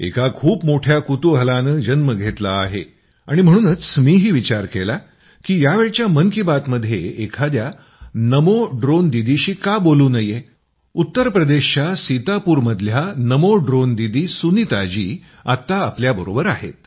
ऐका खूप मोठ्या कुतूहलाने जन्म घेतला आहे आणि म्हणूनच मीही विचार केला की यावेळी मन की बातमध्ये एखाद्या नमो ड्रोन दीदीशी का बोलू नये उत्तर प्रदेशच्या सीतापूरच्या नमो ड्रोन दीदी सुनीताजी आत्ता आपल्याबरोबर आहेत